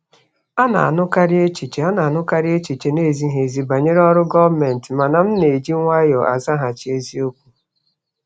A na-anụkarị echiche A na-anụkarị echiche na-ezighị ezi banyere ọrụ gọọmentị, mana m na-eji nwayọọ azaghachi eziokwu.